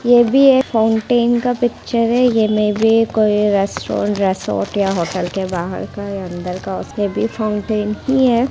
ये भी एक फाउंटेन का पिक्चर है ये मे बी कोई रेस्टोरेंट रिजॉर्ट या होटल के बाहर का अंदर का उसपे भी फाउंटेन ही है।